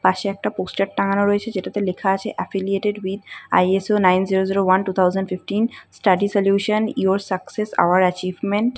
পাশে একটা পোস্টার টাঙানো রয়েছে যেটাতে লেখা আছে affiliated with ISO. Nine zero zero one two thousand fifteen study solution your success our achievement.